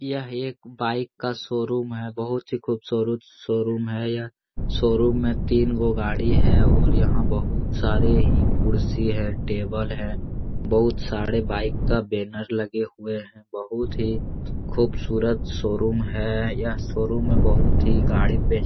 यह एक बाइक का शोरूम है बहुत ही खूबसूरत शोरूम है यह शोरूम में तीनगो गाड़ी है और यहाँ बहुत सारे ही कुर्सी है टेबल है बहुत सारे बाईक का बैनर लगे हुए हैं बहुत ही खूबसूरत शोरूम है यह शोरूम में बहुत ही गाड़ी भी बे --